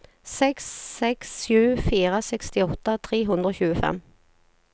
seks seks sju fire sekstiåtte tre hundre og tjuefem